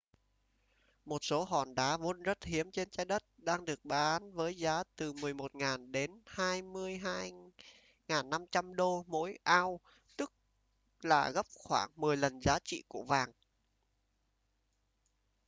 một số hòn đá vốn rất hiếm trên trái đất đang được bán với giá từ 11.000 đến 22.500 usd mỗi ounce tức là gấp khoảng mười lần giá trị của vàng